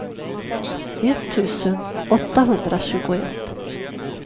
etttusen åttahundratjugoett